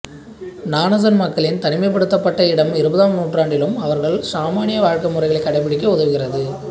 ஙானாசன் மக்களின் தனிமைப்படுத்தப்பட்ட இடம் இருபதாம் நூற்றாண்டிலும் அவர்கள் ஷாமனிய வாழ்கைமுறைகளை கடைபிடிக்க உதவுகிறது